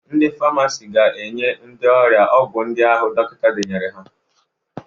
Ndị famasi ga-enye ndị ọrịa ọgwụ ndị ahụ dọkịta denyere ha.